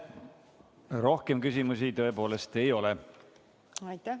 Rohkem küsimusi ei ole.